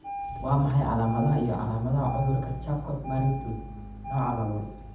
Waa maxay calaamadaha iyo calaamadaha cudurka Charcot Marie Tooth nooca laboL?